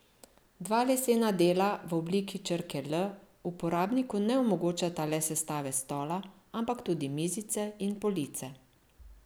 Dva lesena dela v obliki črke L uporabniku ne omogočata le sestave stola, ampak tudi mizice in police.